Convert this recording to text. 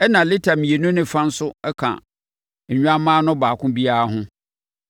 ɛnna lita mmienu ne fa nso ka nnwammaa no baako biara ho.